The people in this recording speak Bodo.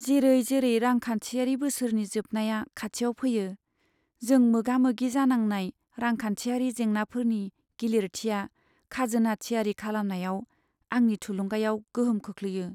जेरै जेरै रांखान्थियारि बोसोरनि जोबनाया खाथियाव फैयो, जों मोगामोगि जानांनाय रांखान्थियारि जेंनाफोरनि गिलिरथिया खाजोना थियारि खालामनायाव आंनि थुलुंगायाव गोहोम खोख्लैयो।